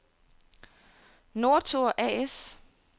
Northor A/S